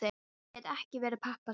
Pabbi gæti ekki verið pabbinn þar.